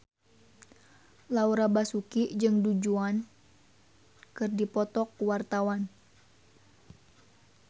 Laura Basuki jeung Du Juan keur dipoto ku wartawan